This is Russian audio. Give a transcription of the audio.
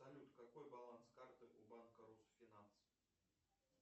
салют какой баланс карты у банка русфинанс